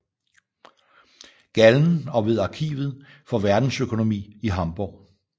Gallen og ved Arkivet for Verdensøkonomi i Hamborg